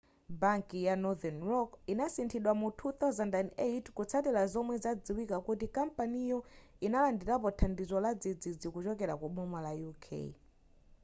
banki ya northern rock inasinthidwa mu 2008 kutsatira zomwe zadziwika kuti kampaniyo inalandirapo thandizo ladzidzidzi kuchokera ku boma la uk